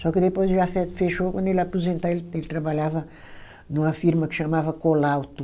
Só que depois o Jafet fechou, quando ele ia aposentar, ele ele trabalhava numa firma que chamava Colauto.